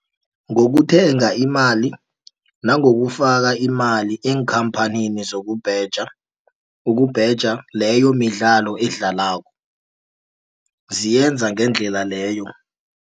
Ngokuthenga imali nangokufaka imali eenkhamphanini zokubheja, ukubheja leyo midlalo edlalwako ziyenza ngendlela leyo.